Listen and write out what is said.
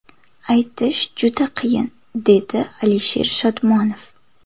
Aytish juda qiyin”, dedi Alisher Shodmonov.